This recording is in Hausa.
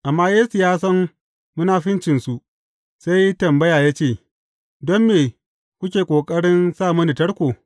Amma Yesu ya san munafuncinsu, sai ya yi tambaya ya ce, Don me kuke ƙoƙarin sa mini tarko?